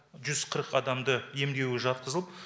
жүз қырық адамды емдеуге жатқызылып